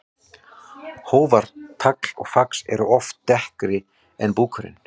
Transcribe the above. Hófar, tagl og fax eru oft dekkri en búkurinn.